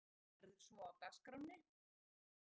Hvað verður svo á dagskránni?